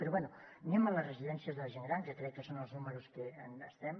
però bé anem a les residències de la gent gran que crec que són els números en què estem